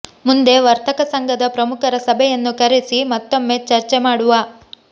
ಮುಂದೆ ವರ್ತಕ ಸಂಘದ ಪ್ರಮುಖರ ಸಭೆಯನ್ನು ಕರೆಸಿ ಮತ್ತೊಮ್ಮೆ ಚರ್ಚೆ ಮಾಡುವ